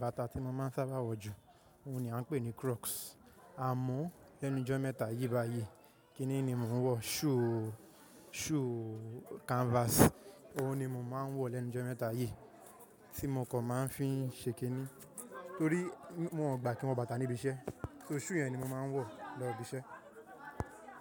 Bàtà tí mo máa ń sábà wọ̀ jù, òun ni a ń pè ní crocs. À mọ́ lẹ́nu jọ́ mẹ́ta yí bá yí, kíni ni mò ń wọ̀? Shoe, shoe canvas, òun ni mo máa ń wọ̀ lẹ́nu jọ́ mẹ́ta yí, tí mo kò máa ń fi ń ṣe kiní, torí wọn ò gba kí n wọ bàtà níbi iṣẹ́. So shoe yẹn ni mo máa ń wọ̀ lọ ibi iṣẹ́.